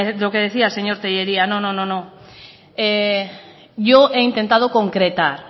lo que decía señor tellería no no no yo he intentado concretar